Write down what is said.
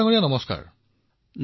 প্ৰকাশজী নমস্কাৰ